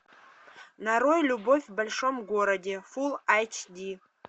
нарой любовь в большом городе фулл эйч ди